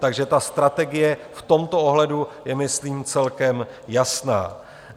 Takže ta strategie v tomto ohledu je myslím celkem jasná.